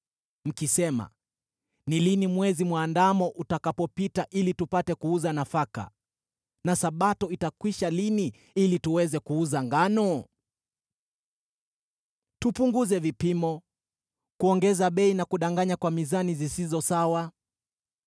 mkisema, “Ni lini Mwezi Mwandamo utakapopita ili tupate kuuza nafaka, na Sabato itakwisha lini ili tuweze kuuza ngano?” Mkipunguza vipimo, na kuongeza bei, na kudanganya kwa mizani zisizo sawa,